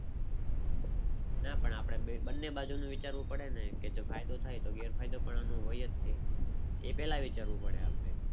ના પણ આપણે બંને બાજુનું વિચારવું પડે ને. કે જો ફાયદો થાય તો તો ગેરફાયદો પણ આનું હોય જ તે પહેલા વિચારવું પડે આપણે.